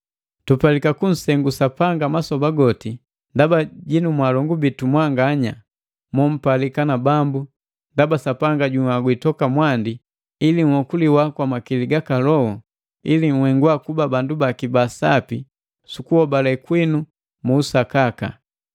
Tupalika kunsengu Sapanga masoba goti ndaba jinu mwaalongu bitu mwanganya, mompalika na Bambu, ndaba Sapanga junhagwi toka mwandi ili nhokuliwa kwa makili gaka Loho, ili nhengwa kuba bandu baki ba sapi su kuhobale kwinu mu usakaka.